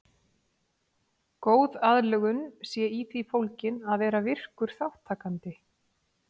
Góð aðlögun sé í því fólgin að vera virkur þátttakandi.